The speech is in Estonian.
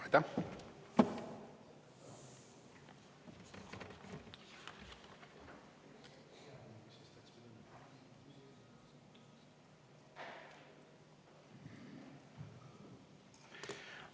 Aitäh!